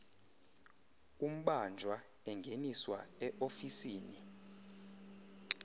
umbanjwa engeniswa eofisini